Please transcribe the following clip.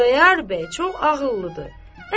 Xudayar bəy çox ağıllıdır.